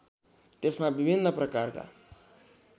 त्यसमा विभिन्न प्रकारका